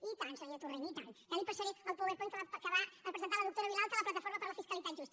i tant senyor torrent i tant ja li passaré el powerpoint que va presentar la doctora vilalta a la plataforma per la fiscalitat justa